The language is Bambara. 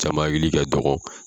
Caman hakili ka dɔgɔ.